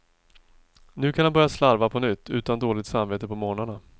Nu kan han börja slarva på nytt, utan dåligt samvete på mornarna.